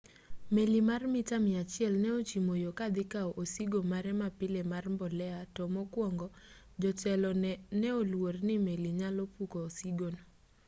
meli mar mita mia achiel ne ochimo yo kadhi kawo osigo mare mapile mar mbolea to mokuongo jotelo ne oluor ni meli nyalo puko osigono